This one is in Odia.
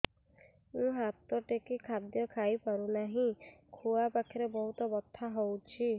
ମୁ ହାତ ଟେକି ଖାଦ୍ୟ ଖାଇପାରୁନାହିଁ ଖୁଆ ପାଖରେ ବହୁତ ବଥା ହଉଚି